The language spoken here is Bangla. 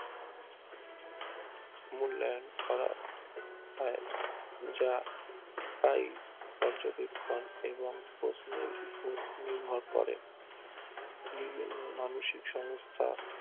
এবং প্ল্যান করা হয় যা তাই পর্যবেক্ষণ এবং পশমের উপর নির্ভর করে মানসিক সংস্থা